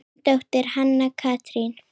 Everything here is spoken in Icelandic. Þín dóttir, Hanna Katrín.